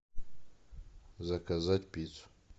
заказать пиццу